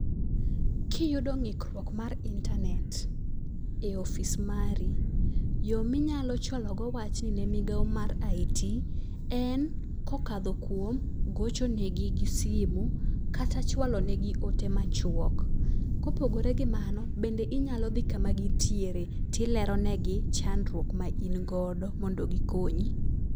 Kiyudo ng'ikruok mar internet e office mari yoo minyalo chwalo go wachni ne migawo mar IT en kokadho kuom gocho negi gi simu , kata chwalo ne gi ote machwok. Kopogore gi mano bende inyalo dhi kama gintiere tilero negi chandruok ma in godo mondo gikonyi.